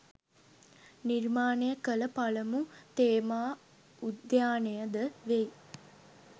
නිර්මාණය කළ පළමු තේමා උද්‍යානය ද වෙයි